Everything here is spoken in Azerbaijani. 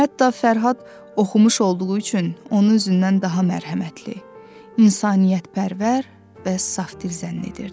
Hətta Fərhad oxumuş olduğu üçün onu özündən daha mərhəmətli, insaniyyətpərvər və safdil zənn edirdi.